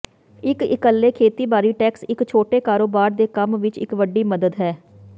ਇੱਕ ਇੱਕਲੇ ਖੇਤੀਬਾੜੀ ਟੈਕਸ ਇੱਕ ਛੋਟੇ ਕਾਰੋਬਾਰ ਦੇ ਕੰਮ ਵਿੱਚ ਇੱਕ ਵੱਡੀ ਮਦਦ ਹੈ